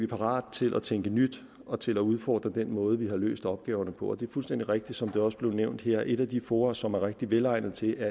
parat til at tænke nyt og til at udfordre den måde vi har løst opgaverne på og det er fuldstændig rigtigt som det også er blevet nævnt her at et af de fora som er rigtig velegnet til det